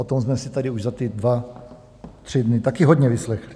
O tom jsme si tady už za ty dva tři dny taky hodně vyslechli.